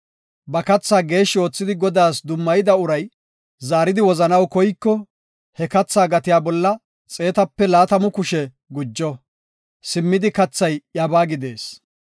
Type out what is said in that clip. Ba keethaa geeshshi oothidi Godaas dummayida uray zaaridi wozanaw koyiko, he keethaa gatiya bolla xeetape laatamu kushe gujo; simmidi keethay iyabaa gidees.